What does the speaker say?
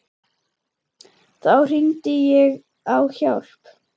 Þá hringdi ég á hjálp.